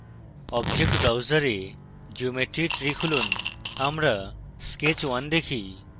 object browser we geometry tree খুলুন আমরা sketch _ 1 দেখি